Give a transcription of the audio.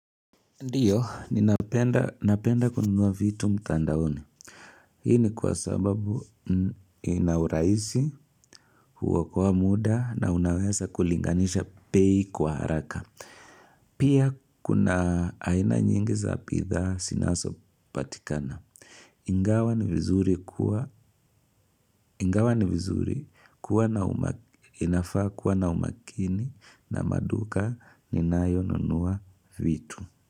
Ndio, ninapenda kununua vitu mtandaoni. Hii ni kwa sababu inaurahisi, huokoa muda na unaweza kulinganisha bei kwa haraka. Pia kuna aina nyingi za bidhaa zinasopatikana. Ingawa ni vizuri kuwa na umakini na maduka ninayonunua vitu.